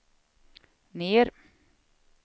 ner